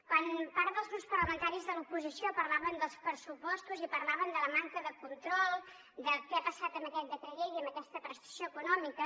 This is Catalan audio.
quan part dels grups parlamentaris de l’oposició parlaven dels pressupostos i parlaven de la manca de control del que ha passat amb aquest decret llei amb aquesta prestació econòmica